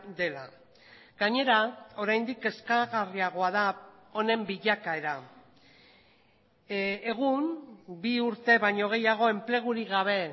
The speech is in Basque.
dela gainera oraindik kezkagarriagoa da honen bilakaera egun bi urte baino gehiago enplegurik gabe